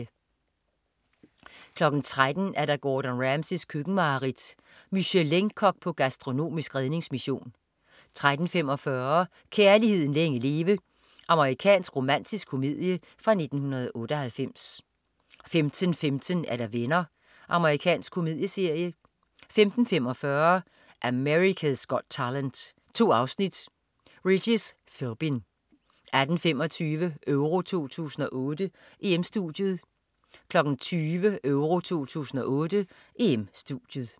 13.00 Gordon Ramsays køkkenmareridt. Michelin-kok på gastronomisk redningsmission 13.45 Kærligheden længe leve. Amerikansk romantisk komedie fra 1998 15.15 Venner. Amerikansk komedieserie 15.45 America's Got Talent. 2 afsnit. Regis Philbin 18.25 EURO 2008: EM-Studiet 20.00 EURO 2008: EM-Studiet